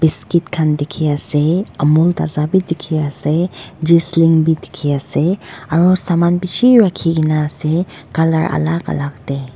skit khan dikiase amul taza bi dikhiase bi dikhiase aro saman bishi rakhikaena ase colour alak alak tae.